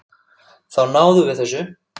Þá náðum við þessu.